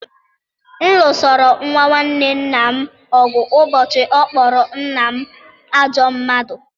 M lụsoro nwa nwanne nna m ọgụ ụbọchị ọ kpọrọ nna m ajọ mmadụ